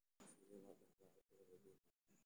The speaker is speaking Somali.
Sidee loo dhaxlaa cudurka Robinowga?